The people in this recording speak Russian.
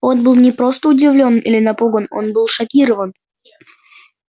он был не просто удивлён или напуган он был шокирован